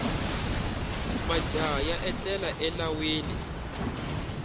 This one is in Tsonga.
majaha ya etlela elawini